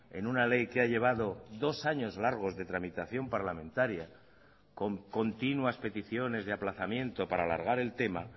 en una ley que ha llevado dos años largos de tramitación parlamentaria con continuas peticiones de aplazamiento para alargar el tema